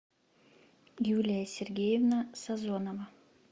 юлия сергеевна сазонова